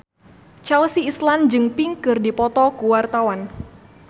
Chelsea Islan jeung Pink keur dipoto ku wartawan